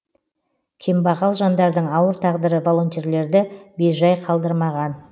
кембағал жандардың ауыр тағдыры волонтерлерді бейжай қалдырмаған